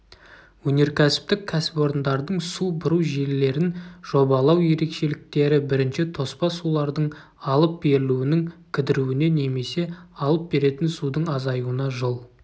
өнеркәсіптік кәсіпорындардың су бұру желілерін жобалау ерекшеліктері бірінші тоспа сулардың алып берілуінің кідіруіне немесе алып беретін судың азаюына жол